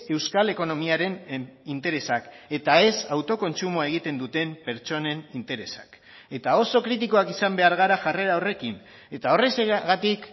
euskal ekonomiaren interesak eta ez autokontsumoa egiten duten pertsonen interesak eta oso kritikoak izan behar gara jarrera horrekin eta horrexegatik